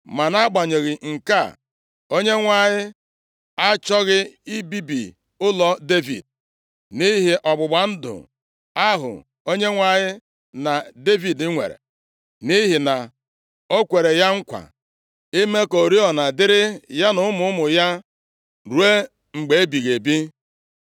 Ma nʼagbanyeghị nke a, Onyenwe anyị achọghị ibibi ụlọ Devid, nʼihi ọgbụgba ndụ ahụ Onyenwe anyị na Devid nwere. Nʼihi na o kwere ya nkwa ime ka oriọna dịịrị ya na ụmụ ụmụ ya ruo mgbe ebighị ebi.